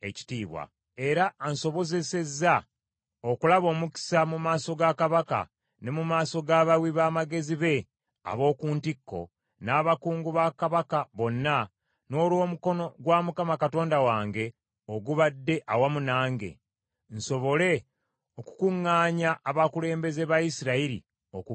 era ansobozesezza okulaba omukisa mu maaso ga kabaka ne mu maaso g’abawi b’amagezi be ab’oku ntikko, n’abakungu ba kabaka bonna, n’olw’omukono gwa Mukama Katonda wange ogubadde awamu nange, nsobole okukuŋŋaanya abakulembeze ba Isirayiri okugenda nange.